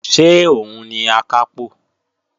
Ṣé òun ni Akápò?